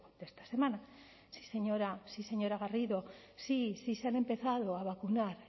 de esta semana sí señora sí señora garrido sí se han empezado a vacunar